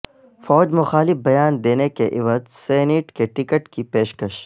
فوج مخالف بیان دینے کے عوض سینیٹ کے ٹکٹ کی پیش کش